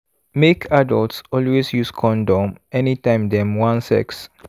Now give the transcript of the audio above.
make adults always use condom anytime dem wan sex